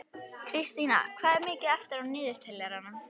Kristína, hvað er mikið eftir af niðurteljaranum?